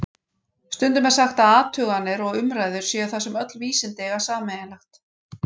Stundum er sagt að athuganir og umræður séu það sem öll vísindi eiga sameiginlegt.